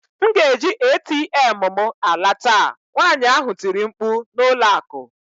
M ga-eji ATM m ala taa! nwanyị ahụ tiri mkpu n'ụlọ akụ.